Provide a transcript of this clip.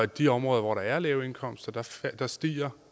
de områder hvor der er lave indkomster stiger